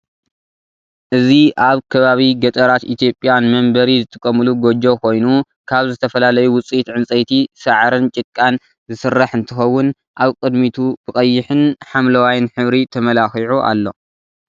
እዚ አብ ከባቢ ገጠራት ኢትዮጵያ ንመንበሪ ዝጥቀምሉ ጎጆ ኮይኑ ካብ ዝተፈላለዩ ውፅኢት ዕንፀይቲ፣ ሳዕርን ጭቃን ዝስራሕ እንትኸውን አብ ቅድሚቱ ብቀይሕን ሐደዋይ ሕብሪ ተመላኺዑ አሎ።